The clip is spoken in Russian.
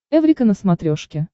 эврика на смотрешке